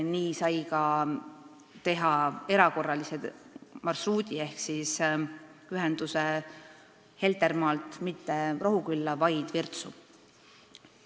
Nii sai teha ka erakorralise marsruudi ehk siis ühenduse Heltermaalt mitte Rohukülla, vaid Virtsu.